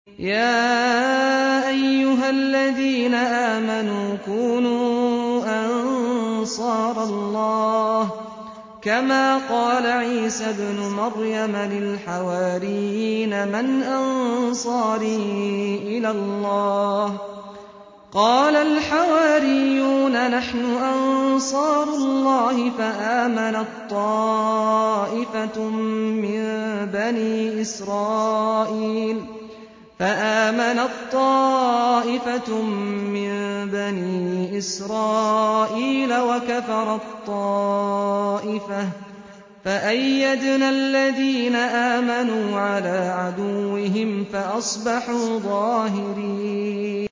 يَا أَيُّهَا الَّذِينَ آمَنُوا كُونُوا أَنصَارَ اللَّهِ كَمَا قَالَ عِيسَى ابْنُ مَرْيَمَ لِلْحَوَارِيِّينَ مَنْ أَنصَارِي إِلَى اللَّهِ ۖ قَالَ الْحَوَارِيُّونَ نَحْنُ أَنصَارُ اللَّهِ ۖ فَآمَنَت طَّائِفَةٌ مِّن بَنِي إِسْرَائِيلَ وَكَفَرَت طَّائِفَةٌ ۖ فَأَيَّدْنَا الَّذِينَ آمَنُوا عَلَىٰ عَدُوِّهِمْ فَأَصْبَحُوا ظَاهِرِينَ